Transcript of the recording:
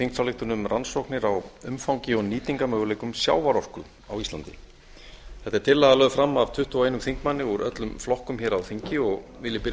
þingsályktun um rannsóknum á umfangi og nýtingarmöguleikum sjávarorku á íslandi þetta er tillaga lögð fram af tuttugu og einum þingmanni úr öllum flokkum hér á þingi og vil ég byrja á